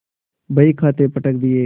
बहीखाते पटक दिये